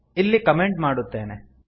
ಇಲ್ಲಿ ಕಮೆಂಟ್ ಮಾಡುತ್ತೇನೆ